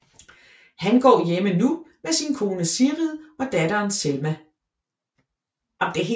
Han går hjemme nu med sin kone Sigrid og datter Selma